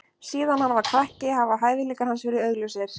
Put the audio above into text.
Síðan hann var krakki hafa hæfileikar hans verið augljósir.